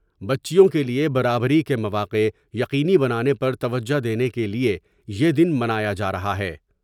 بچیوں کیلئے برابری کے مواقع یقینی بنانے پر توجہ دینے کے لئے یہ دن منایا جارہا ہے ۔